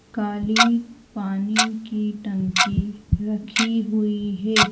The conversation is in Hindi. काली पानी की टंकी रखी हुई है।